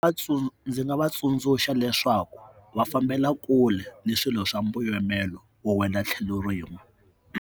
Ndzi nga va tsundzuxa leswaku va fambela kule na swilo swa mbuyamelo wo endla tlhelo rin'we.